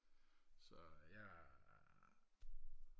så jeg